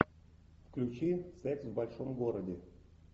включи секс в большом городе